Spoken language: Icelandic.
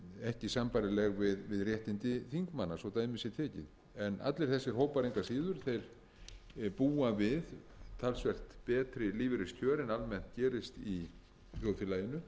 ekki sambærileg við réttindi þingmanna svo dæmi sé tekið en allir þessir hópar engu að síður búa við talsvert betri lífeyriskjör en almennt gerist í þjóðfélaginu